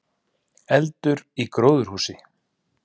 Eldur í gróðurhúsi